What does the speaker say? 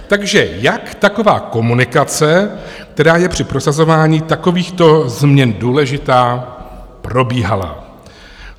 Takže jak taková komunikace, která je při prosazování takovýchto změn důležitá, probíhala?